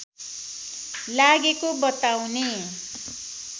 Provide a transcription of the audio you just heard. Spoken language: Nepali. लागेको बताउने